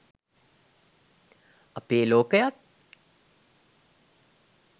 අපේ ලෝකයත්